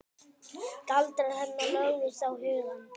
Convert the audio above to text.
Galdrar hennar lögðust á hugann.